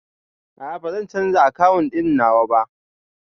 A'a, bazan canza akawun ɗin nawa ba